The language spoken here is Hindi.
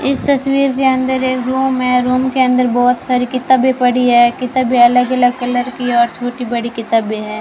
इस तस्वीर के अंदर एक रूम है रूम के अंदर बहोत सारी किताबें पड़ी हैं किताबें अलग-अलग कलर की और छोटी-बड़ी किताबें हैं।